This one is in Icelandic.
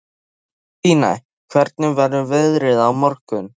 Kristine, hvernig verður veðrið á morgun?